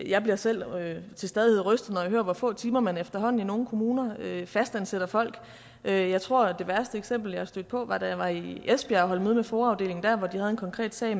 jeg bliver selv til stadighed rystet hører hvor få timer man efterhånden i nogle kommuner fastansætter folk jeg jeg tror det værste eksempel jeg er stødt på var da jeg var i esbjerg og holde møde med foa afdelingen der hvor de havde en konkret sag